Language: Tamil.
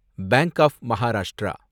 bank of Maharashtra